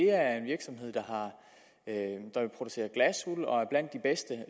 er en virksomhed der producerer glasuld og er blandt de bedste